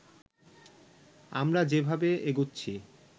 আমরা যেভাবে এগুচ্ছি